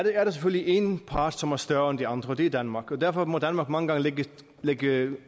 er der selvfølgelig en part som er større end de andre og det er danmark derfor må danmark mange gange lægge lægge